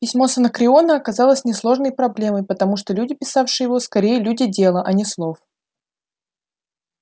письмо с анакреона оказалось несложной проблемой потому что люди писавшие его скорее люди дела а не слов